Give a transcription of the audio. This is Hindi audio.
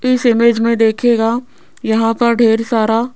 इस इमेज़ में देखिएगा यहां पर ढ़ेर सारा--